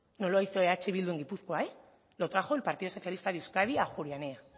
no lo hizo eh bildu en gipuzkoa lo trajo el partido socialista de euskadi a ajuria enea